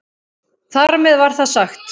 Þar með var það sagt.